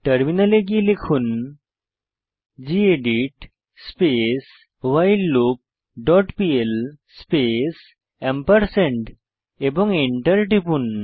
টার্মিনালে গিয়ে লিখুন gedit space while loop dot pl space এবং এন্টার টিপুন